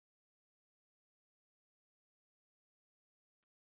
Hvar stendur þetta?